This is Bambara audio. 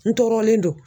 N tɔɔrɔlen don